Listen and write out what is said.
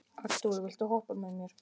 Arthúr, viltu hoppa með mér?